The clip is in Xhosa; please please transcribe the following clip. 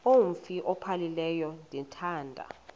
umf ophaphileyo ndithanda